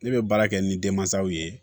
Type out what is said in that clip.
Ne bɛ baara kɛ ni denmansaw ye